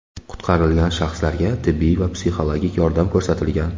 Qutqarilgan shaxslarga tibbiy va psixologik yordam ko‘rsatilgan.